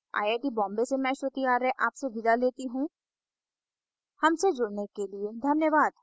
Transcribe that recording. I I T Bombay से मैं श्रुति आर्य आपसे विदा लेती हूँ हमसे जुड़ने के लिए धन्यवाद